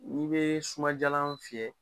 Olu bee sumadiyalan fiyɛ